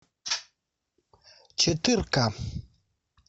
четырка